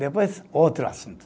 Depois, outro assunto.